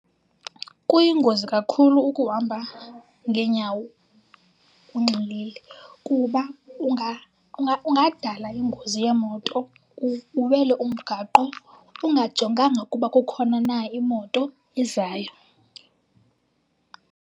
Kuyingozi kakhulu ukuhamba ngeenyawo unxilile kuba ungadala ingozi yeemoto, uwele umgaqo ungajonganga ukuba kukhona na imoto ezayo.